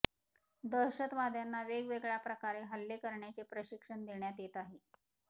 दहशतवाद्यांना वेगवेगळय़ा प्रकारे हल्ले करण्याचे प्रशिक्षण देण्यात येत आहे